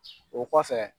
O kɔfɛ